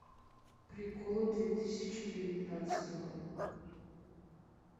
приколы две тысячи девятнадцатого